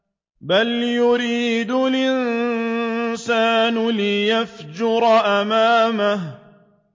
بَلْ يُرِيدُ الْإِنسَانُ لِيَفْجُرَ أَمَامَهُ